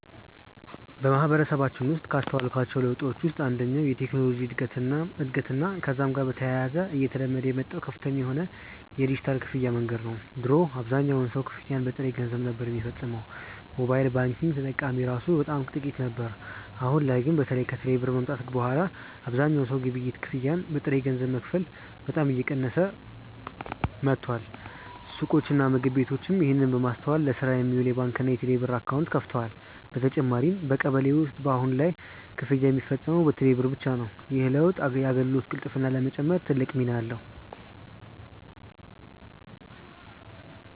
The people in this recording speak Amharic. በማህበረሰባችን ውስጥ ካስተዋልኳቸው ለውጦች ውስጥ አንደኛው የቴክኖሎጂ እድገትና ከዛም ጋር በተያያዘ እየተለመደ የመጣው ከፍተኛ የሆነ የዲጂታል ክፍያ መንገድ ነው። ድሮ አብዛኛው ሰው ክፍያን በጥሬ ገንዘብ ነበር ሚፈጽመው፤ ሞባይል ባንኪንግ ተጠቃሚ እራሱ በጣም ጥቂት ነበር። አሁን ላይ ግን በተለይ ከቴሌ ብር መምጣት በኋላ አብዛኛው ሰው የግብይት ክፍያን በጥሬ ገንዘብ መክፈል በጣም እየቀነሰ መጥቷል። ሱቆችና ምግብ ቤቶችም ይህንን በማስተዋል ለስራ የሚውል የባንክና የቴሌብር አካውንት ከፍተዋል። በተጨማሪም በቀበሌ ውስጥ በአሁን ላይ ክፍያ ሚፈጸመው በቴሌ ብር ብቻ ነው። ይህ ለውጥ የአገልግሎት ቅልጥፍናን ለመጨመር ትልቅ ሚና አለው።